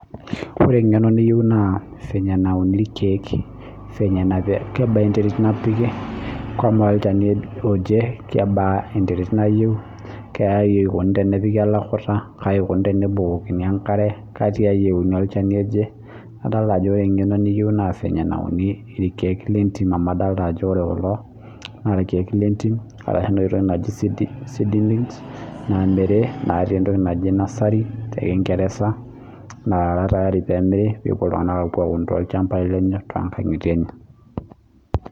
Orw engeno niyie na fenye nauni irkiek kebaa enterit napiki knaa olchanni oje kebaa enterit nayieu naikuni tenepiki olakuta kebaa enkare napiki katiai euni olchanu aje amu adolta ajo ore kulo na irkiek lentimi lamiri naara tayari pemiri pepuo ltunganak aum tolchambai lenye